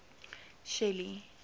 shelly